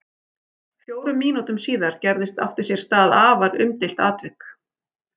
Fjórum mínútum síðar gerðist átti sér stað afar umdeilt atvik.